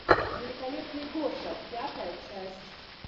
великолепный гоша пятая часть